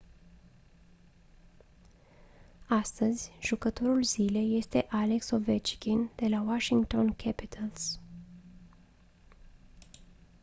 astăzi jucătorul zilei este alex ovechkin de la washington capitals